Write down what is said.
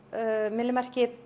myllumerkið